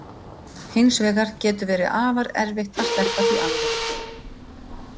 Hins vegar getur verið afar erfitt að sleppa því alveg.